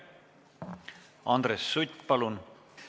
Andres Sutt, palun!